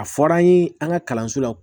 A fɔra an ye an ka kalanso la